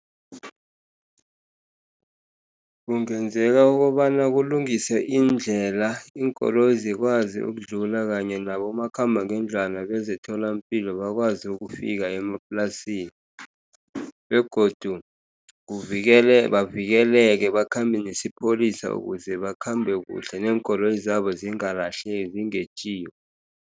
Kungenzeka ukobana kulungiswe iindlela, iinkoloyi zikwazi ukudlula kanye nabomakhambangendlwana bezemtholampilo bakwazi ukufika emaplasini, begodu kuvikele bavikeleke bakhambe nesipholisa ukuze bakhambe kuhle, neenkoloyi zabo zingalahleki zingetjiwa.